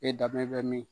E dabe bɛ min